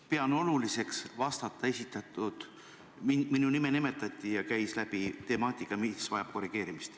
Pean oluliseks vastata, kuna minu nime nimetati ja käis läbi temaatika, mis vajab korrigeerimist.